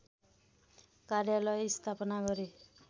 कार्यालय स्थापना गरे